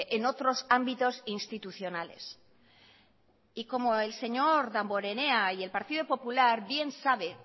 en otros ámbitos institucionales y como el señor damborenea y el partido popular bien sabe